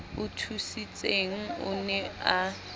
o thusitseng o ne a